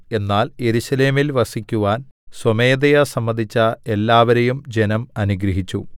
എന്നാൽ യെരൂശലേമിൽ വസിക്കുവാൻ സ്വമേധയാ സമ്മതിച്ച എല്ലാവരെയും ജനം അനുഗ്രഹിച്ചു